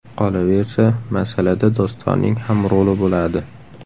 Qolaversa, masalada Dostonning ham roli bo‘ladi.